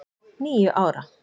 Níu ára!